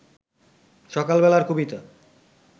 সকাল বেলার কবিতা